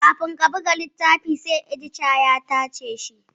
Kafin a buga littafi sai edita ya tace shi